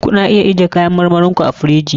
Ku na iya ajiye kayan marmarin ku a firiji.